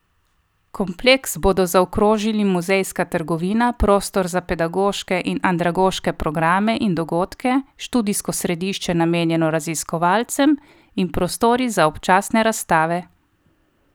Kompleks bodo zaokrožali muzejska trgovina, prostor za pedagoške in andragoške programe in dogodke, študijsko središče namenjeno raziskovalcem in prostori za občasne razstave.